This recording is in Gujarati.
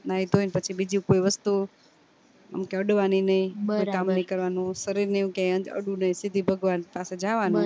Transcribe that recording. નાઈ ધોઈ પછી બીજી કોઈ વસ્તુ અડવાની નય કોઈ કામ નય કરવાનું શરીર ને એમ ક્યાય અડવું નય શીધી ભગવાન પાસે જવાનું